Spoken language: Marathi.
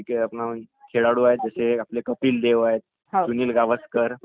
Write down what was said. असे खूप सारे म्हणजे असंख्येकी पैकी खेळाडू आहेत.